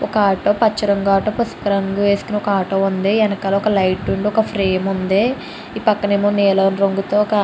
ఒక ఆటో పచ్చ రంగు ఆటో పసుపు రంగు వేసుకుని ఒక ఆటో ఉంది వెనకాల ఒక లైట్ ఒక ఫ్రేమ్ ఉంది ఈ పక్కన ఏమో నీలం రంగుతో --